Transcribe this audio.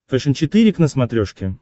фэшен четыре к на смотрешке